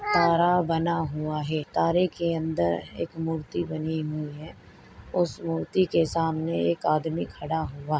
तारा बना हुआ है तारे के अंदर एक मूर्ति बनी हुई है उस मूर्ति के सामने एक आदमी खडा हूआ --